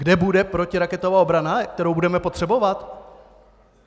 Kde bude protiraketová obrana, kterou budeme potřebovat?